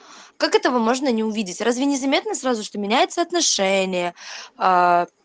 как этого можно не увидеть разве не заметно сразу что меняется отношение аа